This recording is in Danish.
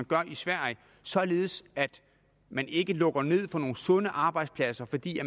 gør i sverige således at man ikke lukker ned for nogle sunde arbejdspladser fordi